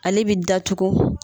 Ale bɛ datugu.